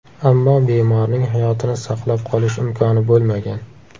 Ammo bemorning hayotini saqlab qolish imkoni bo‘lmagan.